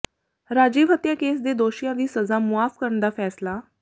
ਰਾਜੀਵ ਹੱਤਿਆ ਕੇਸ ਦੇ ਦੋਸ਼ੀਆਂ ਦੀ ਸਜ਼ਾ ਮੁਆਫ਼ ਕਰਨ ਦਾ ਫ਼ੈਸਲਾ